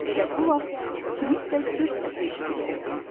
Elə bu vaxt kimsə cır səsi eşidildi.